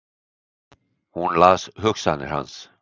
Hún las hugsanir hans!